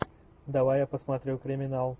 давай я посмотрю криминал